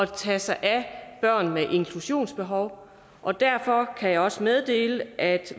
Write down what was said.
tage sig af børn med inklusionsbehov og derfor kan jeg også meddele at